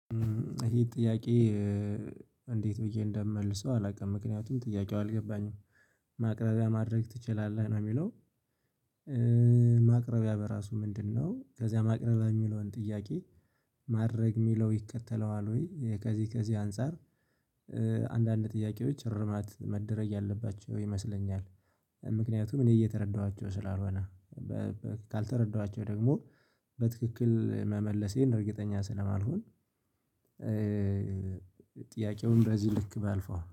ይሄ ጥያቄ እንዴት ብዬ እንደምመልሰው አላውቅም ምክንያቱም ጥያቄው አልገባኝም ማቅረጃ ማድረግ ትችላለህ? ነው የሚለው ማቅረቢያ በራሱ ምንድነው ከዚያ ማቅረቢያ የሚለውን ጥያቄ ማድረግ የሚለው ይከተለዋል ወይ ከዚህ ከዚህ አንፃር አንዳንድ ጥያቄዎች እርማት መደረግ ያለባቸው ይመስለኛል ምክንያቱም እኔ እየተረዳኋቸው ስላልሆነ ካልተረዳኋቸው ደግሞ በትክክል መመለሴን እርግጠኛ ስለማልሆን ጥያቄውን በዚህ ልክ ባልፈው